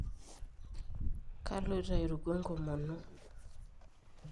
kaloito airuku enkomoni